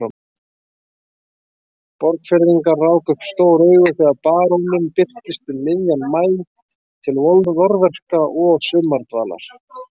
Borgfirðingar ráku upp stór augu þegar baróninn birtist um miðjan maí til vorverka og sumardvalar.